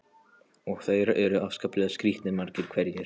Og þeir eru afskaplega skrítnir, margir hverjir.